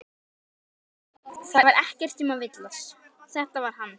Ég leit upp það var ekki um að villast, þetta var hann.